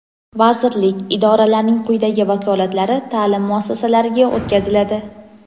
vazirlik (idora)larning quyidagi vakolatlari taʼlim muassasalariga o‘tkaziladi:.